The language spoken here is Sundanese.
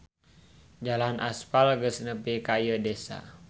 Jalan aspal geus nepi ka ieu desa.